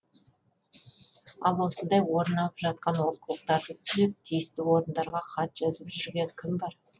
ал осындай орын алып жатқан олқылықтарды түзеп тиісті орындарға хат жазып жүрген кім бар